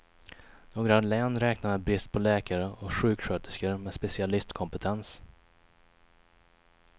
Några län räknar med brist på läkare och sjuksköterskor med specialistkompetens.